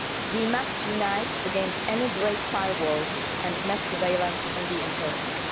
We must unite against any great firewalls and mass surveillance on the internet.